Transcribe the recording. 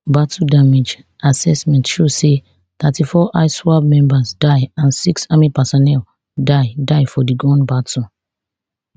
battle damage assessment show say thirty-four iswap members die and six army personel die die for di gun battle